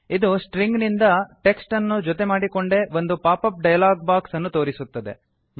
ಇದು ಸ್ಟ್ರಿಂಗ್ ನಿಂದ ಟೆಕ್ಸ್ಟ್ ಅನ್ನು ಜೊತೆ ಮಾಡಿಕೊಂಡೇ ಒಂದು ಪಾಪಪ್ ಡಯಲಾಗ್ ಬಾಕ್ಸ್ ಅನ್ನು ತೋರಿಸುತ್ತದೆ